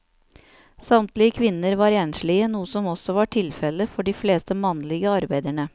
Samtlige kvinner var enslige, noe som også var tilfellet for de fleste mannlige arbeiderne.